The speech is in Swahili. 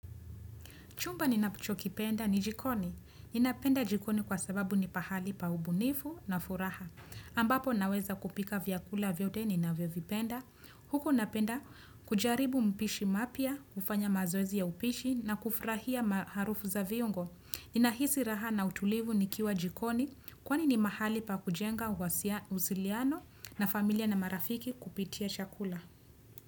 Chumba ninacho kipenda ni jikoni. Ninapenda jikoni kwa sababu ni pahali pa ubunifu na furaha. Ambapo naweza kupika vyakula vyote ninavyovipenda. Huku napenda kujaribu mpishi mapya, kufanya mazoezi ya upishi na kufurahia maharufu za viungo. Ninahisi raha na utulivu nikiwa jikoni kwa ni ni mahali pa kujenga uhasiliano na familia na marafiki kupitia chakula.